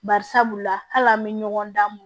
Bari sabula hali an bɛ ɲɔgɔn dan mun